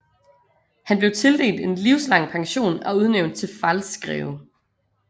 Han blev tildelt en livslang pension og udnævnt til Pfalzgreve